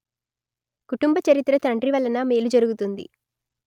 కుటుంబ చరిత్ర తండ్రి వలన మేలు జరుగుతుంది